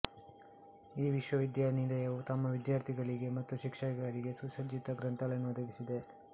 ಈ ವಿಶ್ವವಿದ್ಯಾನಿಲಯವು ತಮ್ಮ ವಿದ್ಯಾರ್ಥಿಗಳಿಗೆ ಮತ್ತು ಶಿಕ್ಷಕರಿಗೆ ಸುಸಜ್ಜಿತ ಗ್ರಂಥಾಲಯವನ್ನು ಒದಗಿಸಿದೆ